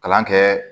Kalan kɛ